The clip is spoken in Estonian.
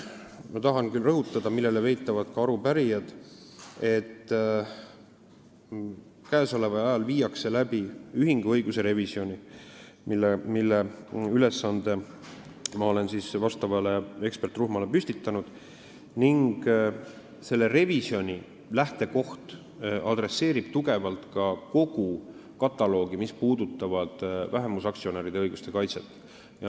Ma tahan aga rõhutada seda, millele viitasid ka arupärijad, et käesoleval ajal toimub ühinguõiguse revisjon, selle ülesande olen ma eksperdirühmale andnud, ning selle revisjoni lähtekoht on, et on tugevalt käsile võetud kogu kataloog, mis puudutab vähemusaktsionäride õiguste kaitset.